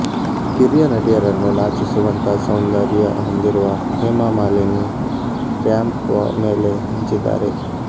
ಕಿರಿಯ ನಟಿಯರನ್ನು ನಾಚಿಸುವಂತ ಸೌಂದರ್ಯ ಹೊಂದಿರುವ ಹೇಮಾ ಮಾಲಿನಿ ರ್ಯಾಂಪ್ ಮೇಲೆ ಮಿಂಚಿದ್ದಾರೆ